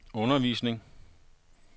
undervisning